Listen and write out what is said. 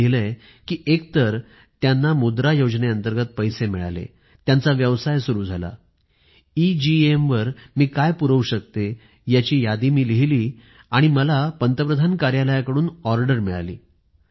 त्यांनी लिहिलं आहे की एक तर त्यांना मुद्रा योजनेअंतर्गत पैसे मिळाले त्यांचा व्यवसाय सुरु झाला एगेम वर मी काय पुरवू शकते याची यादी मी लिहिली आणि मला पंतप्रधान कार्यालयाकडून ऑर्डर मिळाली